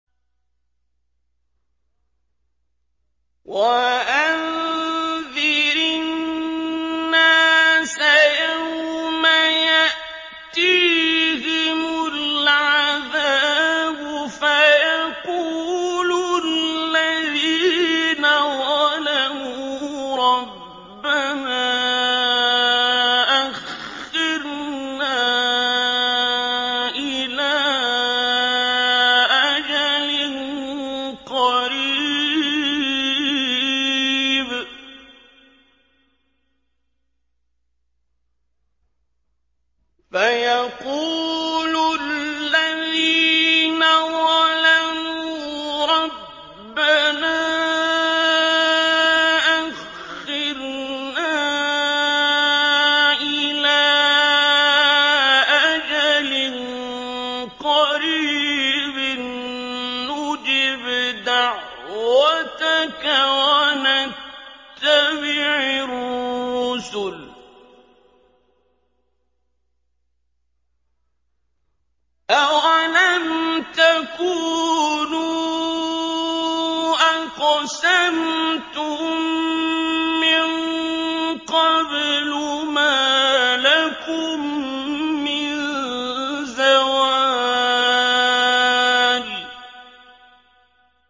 وَأَنذِرِ النَّاسَ يَوْمَ يَأْتِيهِمُ الْعَذَابُ فَيَقُولُ الَّذِينَ ظَلَمُوا رَبَّنَا أَخِّرْنَا إِلَىٰ أَجَلٍ قَرِيبٍ نُّجِبْ دَعْوَتَكَ وَنَتَّبِعِ الرُّسُلَ ۗ أَوَلَمْ تَكُونُوا أَقْسَمْتُم مِّن قَبْلُ مَا لَكُم مِّن زَوَالٍ